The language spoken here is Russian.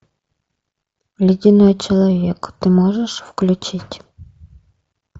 ледяной человек ты можешь включить